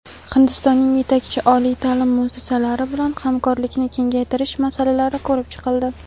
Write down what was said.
Hindistonning yetakchi oliy taʼlim muassasalari bilan hamkorlikni kengaytirish masalalari ko‘rib chiqildi.